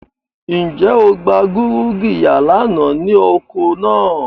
Nje o gba gurugiya lana ni oko naa?